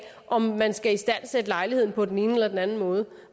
om man skal istandsætte lejligheden på den ene eller anden måde